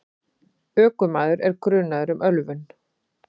Ökumaður er grunaður um ölvun.